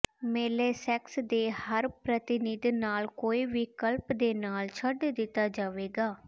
ਮੇਲੇ ਸੈਕਸ ਦੇ ਹਰ ਪ੍ਰਤੀਨਿਧ ਨਾਲ ਕੋਈ ਵਿਕਲਪ ਦੇ ਨਾਲ ਛੱਡ ਦਿੱਤਾ ਜਾਵੇਗਾ